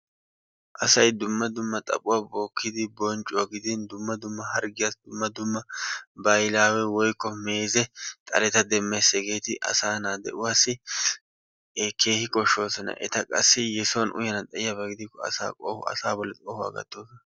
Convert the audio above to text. Asay dumma dumma xaphuwa bookkidi bonccuwa gidin dumma dumma harggiyassi dumma dumaa bahilaawe woykko meeze xaleta demmes. hegeeti asaa naa de'uwassi keehi koshshoosona. qassi yesuwan uyana xayiyaba gidikko asaa bolli qohuwa gattoosona.